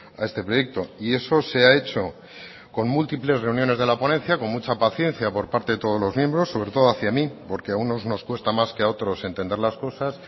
a este proyecto y eso se ha hecho con múltiples reuniones de la ponencia con mucha paciencia por parte de todos los miembros sobre todo hacia mí porque a unos nos cuesta más que a otros entender las cosas